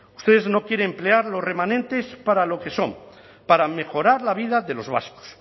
ustedes no quieren emplear los remanentes para lo que son para mejorar la vida de los vascos